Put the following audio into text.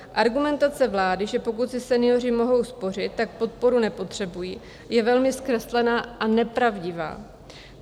Argumentace vlády, že pokud si senioři mohou spořit, tak podporu nepotřebují, je velmi zkreslená a nepravdivá.